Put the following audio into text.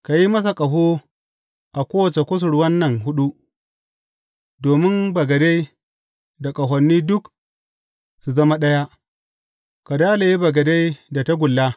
Ka yi masa ƙaho a kowace kusurwan nan huɗu, domin bagade da ƙahoni duk su zama ɗaya, ka dalaye bagade da tagulla.